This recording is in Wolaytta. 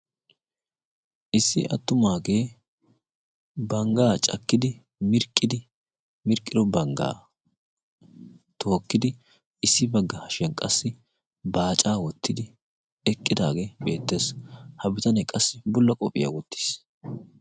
Issi attumaagee banggaa cakkidi mirqqidi mirqqiro banggaa tookkidi issi bagga hashiyan qassi baacaa wottidi eqqidaagee beettees. Ha bitanee qassi bulla qophiyaa wottiis.